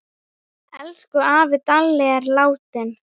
Elsku afi Dalli er látinn.